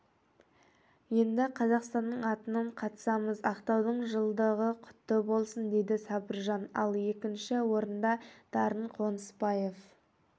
енді қазақстанның атынан қатысамыз ақтаудың жылдығы құтты болсын дейді сабыржан ал екінші орында дарын қонысбаев